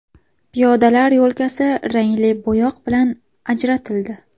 Piyodalar yo‘lkasi rangli bo‘yoq bilan ajratildi.